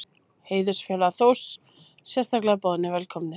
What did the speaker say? Heiðursfélagar Þórs sérstaklega boðnir velkomnir.